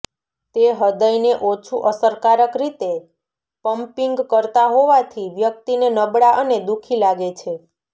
તે હૃદયને ઓછું અસરકારક રીતે પંપીંગ કરતા હોવાથી વ્યક્તિને નબળા અને દુઃખી લાગે છે